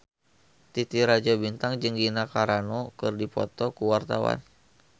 Titi Rajo Bintang jeung Gina Carano keur dipoto ku wartawan